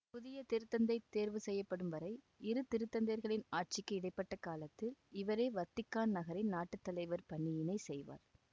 புதிய திருத்தந்தை தேர்வு செய்யப்படும் வரை இரு திருத்தந்தையர்களின் ஆட்சிக்கு இடை பட்ட காலத்தில் இவரே வத்திக்கான் நகரின் நாட்டு தலைவர் பணியினை செய்வார்